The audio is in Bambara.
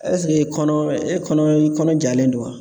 kɔnɔ e kɔnɔ i kɔnɔ jalen don wa